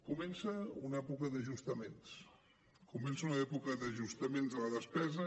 comença una època d’ajustaments comença una època d’ajustaments de la despesa